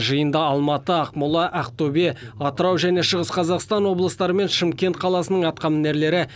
жиында алматы ақмола ақтөбе атырау және шығыс қазақстан облыстары мен шымкент қаласының атқамінерлері